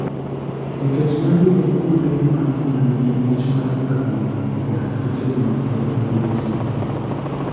nikech magi e kuond ma joma ni gi mich mar adhula koda tuke ma moko wuoke.